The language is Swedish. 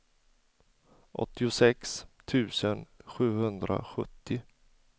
åttiosex tusen sjuhundrasjuttio